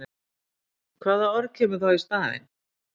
Hvaða orð kemur þá í staðinn?